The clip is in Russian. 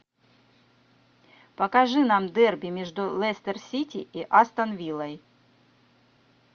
покажи нам дерби между лестер сити и астон виллой